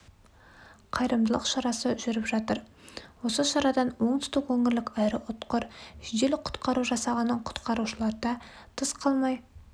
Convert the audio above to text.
қайырымдылық шарасы жүріп жатыр осы шарадан оңтүстік өңірлік аэроұтқыр жедел құтқару жасағының құтқарушыларыда тыс қалмай